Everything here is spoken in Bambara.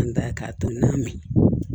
An da k'a to n'a mɛn